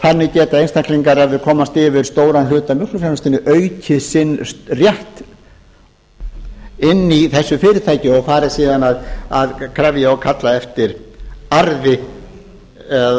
þannig geta einstaklingar ef þeir komast yfir stóran hlut af mjólkurframleiðslunni aukið sinn rétt inni í eru fyrirtæki og farið síðan að krefja og kalla eftir arði eða